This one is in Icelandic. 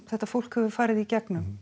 þetta fólk hefur farið í gegnum